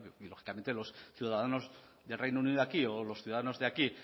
y lógicamente los ciudadanos de reino unido aquí o los ciudadanos de aquí